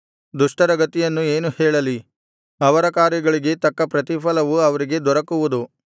ದುಷ್ಟರ ಗತಿಯನ್ನು ಏನು ಹೇಳಲಿ ಅವರ ಕಾರ್ಯಗಳಿಗೆ ತಕ್ಕ ಪ್ರತಿಫಲವು ಅವರಿಗೆ ದೊರಕುವುದು